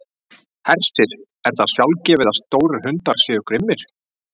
Hersir: Er það sjálfgefið að stórir hundar séu grimmir?